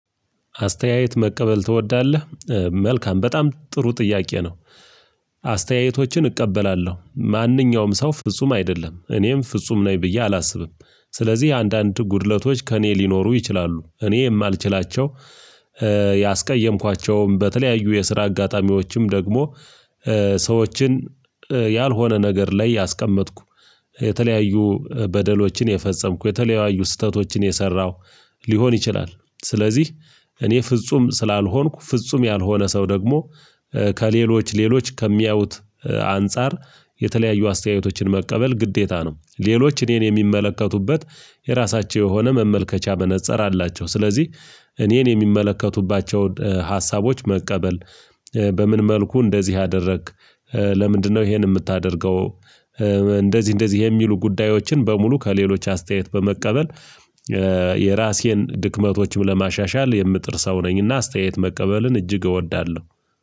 አስተያየት መቀበል ትወዳለህ መልካም በጣም ጥሩ ጥያቄ ነው? አስተያየቶችን እቀበላለሁ ማንኛውም ሰው ፍጹም አይደለም እኔም ፍጹም ነኝ ብዬ አላስብም። ስለዚህ አንዳንድ ጉድለቶች ከእኔ ሊኖሩ ይችላሉ እኔ የማልችላቸው ያስቀየምኳቸውም በተለያዩ የስራ አጋጣሚዎችም ደግሞ ሰዎችን ያልሆነ ነገር ላይ ያስቀመጥኩ የተለያዩ በደሎችን የፈጸምኩ የተለያዩ ስህተቶችን የሰራሁ ሊሆን ይችላል። ስለዚህ እኔ ፍጹም ስላልሆንኩ ፍጹም ያልሆነ ሰው ደግሞ ከሌሎች ሌሎች ከሚያዩት አንፃር የተለያዩ አስተያየቶችን መቀበል ግዴታ ነው። ሌሎች እኔን የሚመለከቱበት የራሳቸው የሆነ መመልከቻ መነፅር አላቸው። ስለዚህ እኔን የሚመለከቱባቸውን ሀሳቦች መቀበል በምን መልኩ እንደዚህ አደረግክ ለምንድነው ይሄን የምታደርገው? እንደዚህ እንደዚህ የሚሉ ጉዳዮችን በሙሉ ከሌሎች አስተያየት በመቀበል የራሴን ድክመቶችም ለማሻሻል የምጥር ሰው ነኝ። እና አስተያየት መቀበልን እጅግ እወዳለሁ።